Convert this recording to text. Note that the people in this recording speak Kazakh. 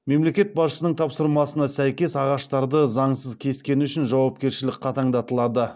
мемлекет басшысының тапсырмасына сәйкес ағаштарды заңсыз кескені үшін жауапкершілік қатаңдатылады